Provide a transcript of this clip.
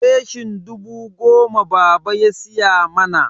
leshin dubu goma baba ya siya mana.